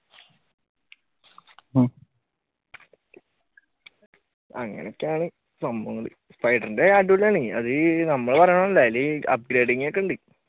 അങ്ങനൊക്കെയാണ് സംഭവങ്ങൾ spider ന്റെ അടിപൊളിയാണ് അത് നമ്മൾ പറയണത് അതിൽ upgrading ഒക്കെ ഉണ്ട്.